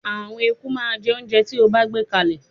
Àwọn eku máa jẹ oúnjẹ tí o bá gbé kalẹ̀.